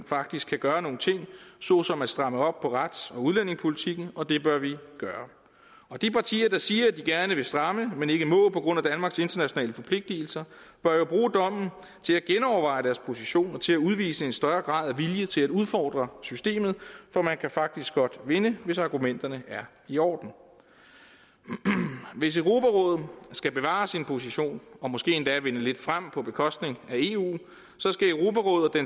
faktisk kan gøre nogle ting såsom at stramme op på rets og udlændingepolitikken og det bør vi gøre de partier der siger at de gerne vil stramme men ikke må på grund af danmarks internationale forpligtelser bør jo bruge dommen til at genoverveje deres position og til at udvise en større grad af vilje til at udfordre systemet for man kan faktisk godt vinde hvis argumenterne er i orden hvis europarådet skal bevare sin position og måske endda vinde lidt frem på bekostning af eu